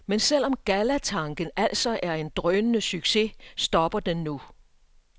Men selv om gallatanken altså er en drønende succes, stopper den nu.